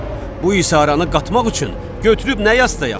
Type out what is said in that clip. Bu isə oranı qatmaq üçün götürüb nə yazıb da yaxşıdır?